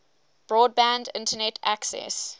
broadband internet access